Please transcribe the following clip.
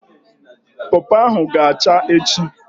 Pọpọ ahụ ga acha echi